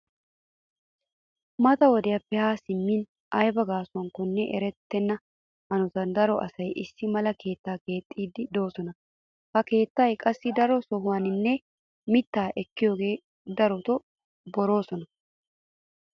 Mata wodiyappe haa simmin aybi gaasuwanakko erettenna hanotan daro asay issi mala keettaa keexxiiddi de'oosona. Ha keettay qassi daro sohuwanne mittaa ekkiyogan daroti boroosona.